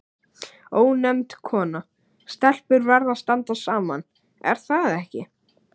Ónefnd kona: Stelpur verða að standa saman, er það ekki?